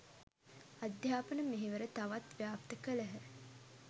අධ්‍යාපන මෙහෙවර තවත් ව්‍යාප්ත කළහ.